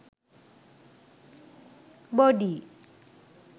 body